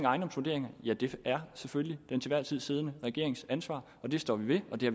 ejendomsvurderingerne ja det er selvfølgelig den til enhver tid siddende regerings ansvar og det står vi ved og det